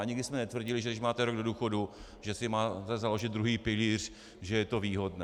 A nikdy jsme netvrdili, že když máte rok do důchodu, že si máte založit druhý pilíř, že je to výhodné.